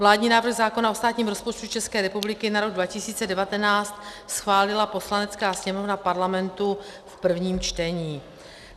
Vládní návrh zákona o státním rozpočtu České republiky na rok 2019 schválila Poslanecká sněmovna Parlamentu v prvním čtení.